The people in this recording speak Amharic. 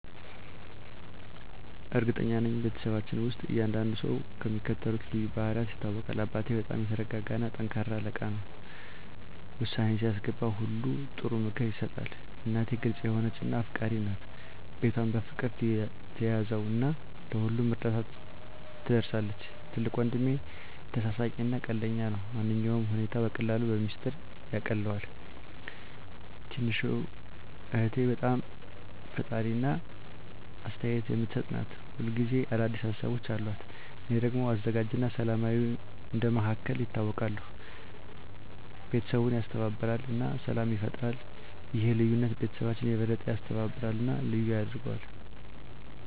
እርግጠኛ ነኝ፤ በቤተሰባችን ውስጥ እያንዳንዱ ሰው በሚከተሉት ልዩ ባህሪያት ይታወቃል - አባቴ በጣም የተረጋ እና ጠንካራ አለቃ ነው። ውሳኔ ሲያስገባ ሁሌ ጥሩ ምክር ይሰጣል። እናቴ ግልጽ የሆነች እና አፍቃሪች ናት። ቤቷን በፍቅር ትያዘው እና ለሁሉም እርዳታ ትደርሳለች። ትልቁ ወንድሜ ተሳሳቂ እና ቀልደኛ ነው። ማንኛውንም ሁኔታ በቀላሉ በሚስጥር ያቃልለዋል። ትንሹ እህቴ በጣም ፈጣሪ እና አስተያየት የምትሰጥ ናት። ሁል ጊዜ አዲስ ሀሳቦች አሉት። እኔ ደግሞ አዘጋጅ እና ሰላማዊ እንደ መሃከል ይታወቃለሁ። ቤተሰቡን ያስተባብራል እና ሰላም ይፈጥራል። ይህ ልዩነት ቤተሰባችንን የበለጠ ያስተባብራል እና ልዩ ያደርገዋል።